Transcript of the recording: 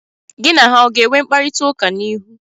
Gị na ha ọ ga-enwe mkparita ụka n'ihu?